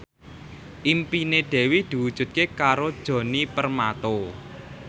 impine Dewi diwujudke karo Djoni Permato